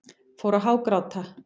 Fór að hágráta.